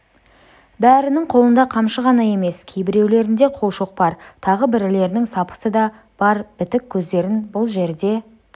бәрінің қолында қамшы ғана емес кейбіреулерінде қолшоқпар тағы бірлерінің сапысы да бар бітік көздерін бұл жерде